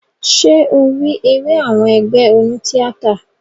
Ṣé o rí eré àwọn ẹgbé oní tíátà?